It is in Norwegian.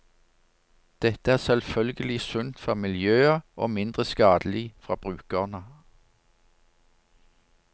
Dette er selvfølgelig sunt for miljøet og mindre skadelig for brukerne.